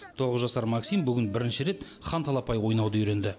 тоғыз жасар максим бүгін бірінші рет ханталапай ойнауды үйренді